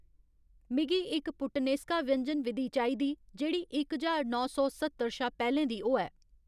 मिगी इक पुट्टनेस्का व्यंजन विधि चाहिदी जेह्‌ड़ी इक हजार नौ सौ स्हत्तर शा पैह्‌लें दी होऐ।